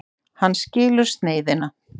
Hann skilur sneiðina.